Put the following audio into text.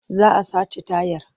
Za a sace tayar.